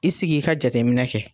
I sigi i ka jateminɛ kɛ.